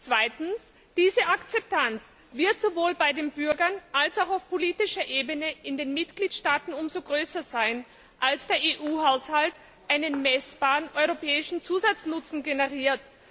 Zweitens Diese Akzeptanz wird sowohl bei den Bürgern als auch auf politischer Ebene in den Mitgliedstaaten umso größer sein, als der EU Haushalt einen messbaren europäischen Zusatznutzen generiert.